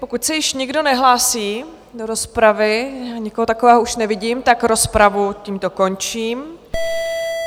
Pokud se již nikdo nehlásí do rozpravy, nikoho takového už nevidím, tak rozpravu tímto končím.